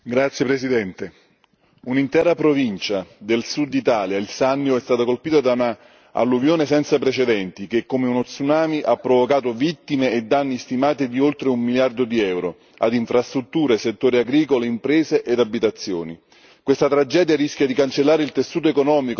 Signor Presidente, onorevoli colleghi, un'intera provincia del sud Italia, il Sannio, è stata colpita da un'alluvione senza precedenti che, come uno tsunami, ha provocato vittime e danni stimati di oltre un miliardo di euro ad infrastrutture, settore agricolo, imprese ed abitazioni. Questa tragedia rischia di cancellare il tessuto economico, la storia e il futuro di queste terre.